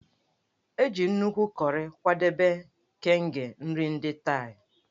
E ji nnukwu kọrị kwadebe Kaeng nri ndị Thai.